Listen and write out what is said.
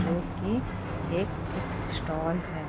जो की एक बुक स्टॉल है।